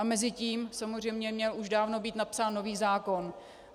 A mezitím samozřejmě měl už dávno být napsán nový zákon.